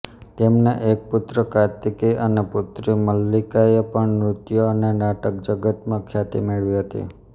તેમના એક પુત્ર કાર્તિકેય અને પુત્રી મલ્લિકાએ પણ નૃત્ય અને નાટકજગતમાં ખ્યાતિ મેળવી હતી